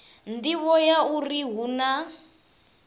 nḓivho ya uri hu na